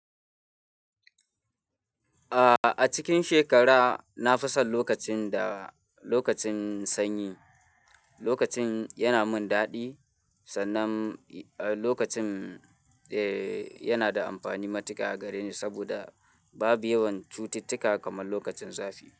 Ah, a cikin shekara, na fi son lokacin da lokacin sanyi. Lokacin yana min daɗi, sannan eh lokacin eh yana da amfani matuka a gareni saboda babu yawan cututtuka kamar lokacin zafi.